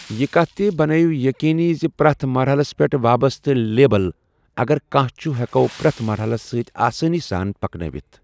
یہِ کَتھ تہِ بنٲیِو یٔقیٖنی زِ پرٮ۪تھ مرحلَس پٮ۪ٹھ وابستہٕ لیبل، اگر کانٛہہ چھُ، ہٮ۪کَو پرٛٮ۪تھ مرحلَس سۭتۍ آسٲنی سان پَکنٲوِتھ ۔